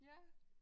Ja